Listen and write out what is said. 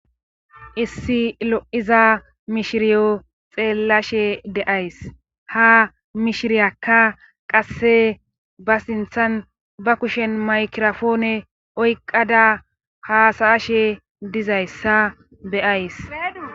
Issi lo7iza mishiriyo xeellshe de7ays haa mishiriyakka qasse ba sinthan ba kushen mykirapoone oyqqada haasa7ashe dizayssa be7ays.